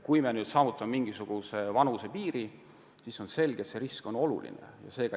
Kui on jõutud mingisuguse vanusepiirini, siis on selge, et risk on suurem.